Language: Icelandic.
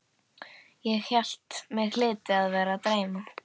Ég hélt mig hlyti að vera að dreyma.